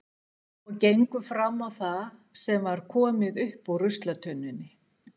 Og gengu fram á það sem var komið upp úr ruslatunnunni.